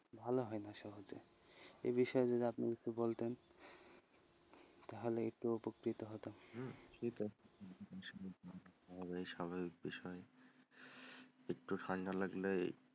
ভালো হয় না সহজে, এই বিষয়ে যদি আপনি একটু বলতেন তাহলে একটু উপকৃত হতাম হম স্বভাবিক বিষয় একটু ঠান্ডা লাগলেই,